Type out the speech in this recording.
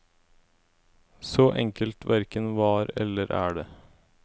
Så enkelt hverken var eller er det.